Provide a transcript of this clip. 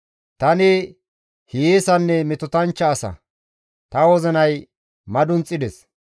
Tani hiyeesanne metotanchcha asa; ta wozinay madunxides.